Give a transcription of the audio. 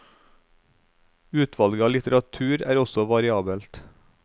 Utvalget av litteratur er også variabelt.